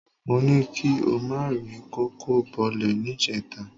Mó ní kí o má ri kòkó bọlẹ̀ níjẹta